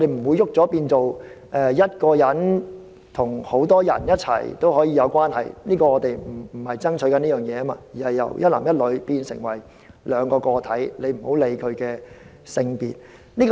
這個轉變不會變成一個人可以跟數個人有關係，我們不是爭取這件事，而是由一男一女變成兩個個體，不論其性別而已。